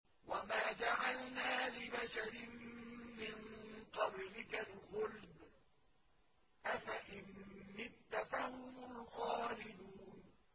وَمَا جَعَلْنَا لِبَشَرٍ مِّن قَبْلِكَ الْخُلْدَ ۖ أَفَإِن مِّتَّ فَهُمُ الْخَالِدُونَ